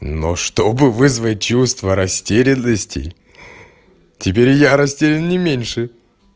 но чтобы вызвать чувство растерянности теперь я растерян не меньше